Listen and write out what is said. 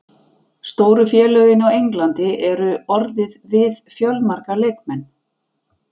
Stóru félögin á Englandi eru orðið við fjölmarga leikmenn.